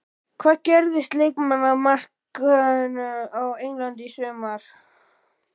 Hvað gerist á leikmannamarkaðinum á Englandi í sumar?